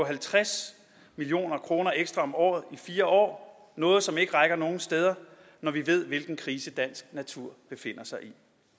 halvtreds million kroner ekstra om året i fire år noget som ikke rækker nogen steder når vi ved hvilken krise dansk natur befinder sig i